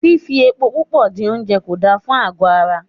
Fifi epo púpò dín oúnjẹ kò da fún àgọ́ ara.